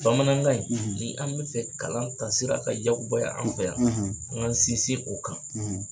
Bamanankan in ni an bɛ fɛ kalan taasira ka yakubaya an fɛ yan an k'an sinsin o kan.